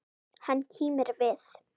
Hann kímir við.